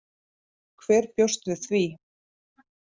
Hver bjóst við því?